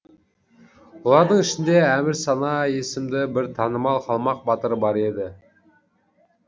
олардың ішінде әмірсана есімді бір танымал қалмақ батыры бар еді